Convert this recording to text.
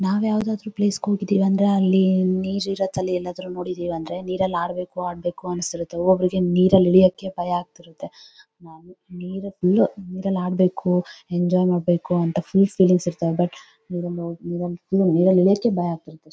ನಾವ್ ಯಾವಾದರೂ ಪ್ಲೇಸ್ ಗೆ ಹೋಗಿದ್ದಿವಿ ಅಂದ್ರೆ ನೀರ್ ಇರತಲ್ಲ ಎಲ್ಲಾದ್ರೂ ನೋಡಿದೀವಿ ಅಂದ್ರೆ ನೀರಲ್ ಆಡ್ಬೇಕು ಆಡ್ಬೇಕು ಅನ್ಸುತ್ತೆ ಒಬ್ಬೊಬ್ಬರಿಗೆ ನೀರಲ್ ಇಳಿಯೋಕೆ ಭಯ ಆಗತಿರತ್ತೆ ನೀರಲ್ ಆಡ್ಬೇಕು ಎಂಜಾಯ್ ಮಾಡಬೇಕು ಅಂತ ಫುಲ್ ಫೀಲಿಂಗ್ಸ್ ಇರ್ತವೆ ಬಟ್ ನೀರಲ್ ಇಳಿಯೋಕೆ ಭಯ ಆಗತಿರತ್ತೆ .